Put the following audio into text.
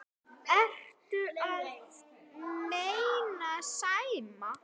Ertu að meina Sæma?